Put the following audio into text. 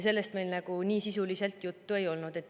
Sellest meil nii sisuliselt juttu ei olnud.